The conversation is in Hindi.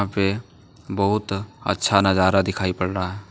यहां पे बहुत अच्छा नजारा दिखाई पड़ रहा है।